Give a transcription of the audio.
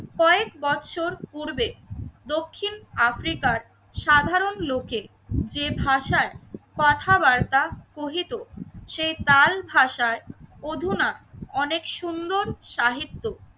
কয়েক বৎসর পূর্বে দক্ষিণ আফ্রিকার সাধারণ লোকে যে ভাষায় কথাবার্তা কহিত সেই তাল ভাষায় অধুনা অনেক সুন্দর সাহিত্য